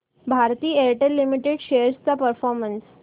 Bharti Airtel limited shares चा performance